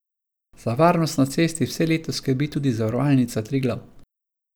Za varnost na cesti vse leto skrbi tudi Zavarovalnica Triglav.